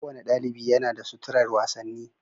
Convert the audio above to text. Kowane ɗaliɓi yana da suturar wasanni.